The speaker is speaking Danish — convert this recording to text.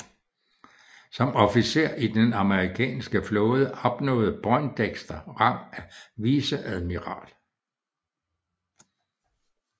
Som officer i den amerikanske flåde opnåede Poindexter rang af viceadmiral